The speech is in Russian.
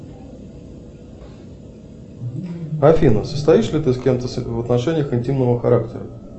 афина состоишь ли ты с кем то в отношениях интимного характера